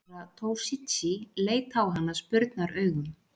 Herra Toshizi leit á hann spurnaraugum.